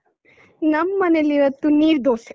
ನಮ್ಮನೇಲ್ ಇವತ್ತು ನೀರ್‌ದೋಸೆ.